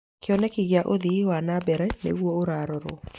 Kĩoneki gĩa ũthii wa na mbere nĩguo ũrarorwo.